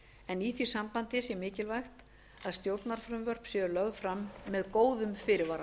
en í því sambandi er mikilvægt að stjórnarfrumvörp séu lögð fram með góðum fyrirvara